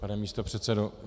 Pane místopředsedo.